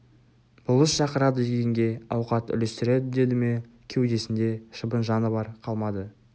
болыс шақырады дегенге ауқат үлестіреді деді ме кеудесінде шыбын жаны бары қалмады